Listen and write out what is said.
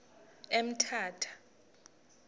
emthatha